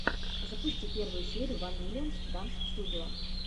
запусти первую серию ван миллион данс студио